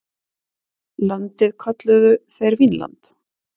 Landið kölluðu þeir Vínland.